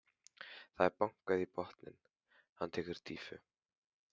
Það er bankað í botninn, hann tekur dýfu.